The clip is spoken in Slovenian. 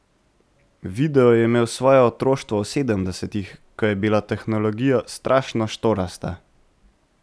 Video je imel svoje otroštvo v sedemdesetih, ko je bila tehnologija strašno štorasta.